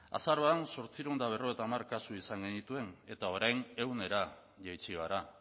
azaroan zortziehun eta berrogeita hamar kasu izan genituen eta orain ehunera jaitsi gara